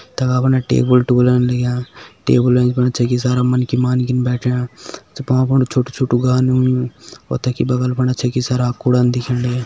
तखा फन टेबल टुबलन लग्यां टेबल एंच फुन छकि सारा मन्खि मान्खिन बैठ्यां भ्वाँ फुण छोटु छोटु और तखि बगल फुण छकि सारा कुड़ान दिखेण लग्यां।